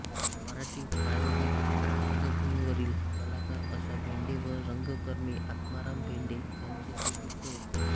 मराठी प्रायोगिक रंगभूमीवरील कलाकार आशा भेंडे व रंगकर्मी आत्माराम भेंडे त्यांचे ते पुत्र होत